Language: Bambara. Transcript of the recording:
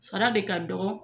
Sara de ka dɔgɔ